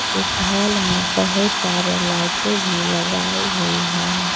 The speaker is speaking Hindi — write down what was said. इस हॉल में बहुत सारे लाइटें भी लगाई हुई है।